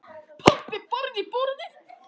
Pabbi barði í borðið.